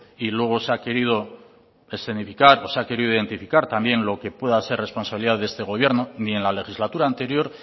y luego se ha querido escenificar o se ha querido identificar también lo que pueda ser responsabilidad de este gobierno ni en la legislatura anterior